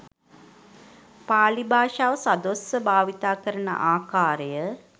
පාලි භාෂාව සදොස්ව භාවිත කරන ආකාරය